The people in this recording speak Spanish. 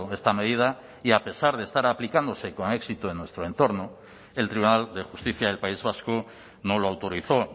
esta medida y a pesar de estar aplicándose con éxito en nuestro entorno el tribunal de justicia del país vasco no lo autorizó